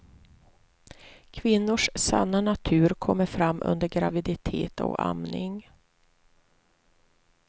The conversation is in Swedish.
Kvinnors sanna natur kommer fram under graviditet och amning.